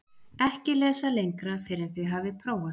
EKKI LESA LENGRA FYRR EN ÞIÐ HAFIÐ PRÓFAÐ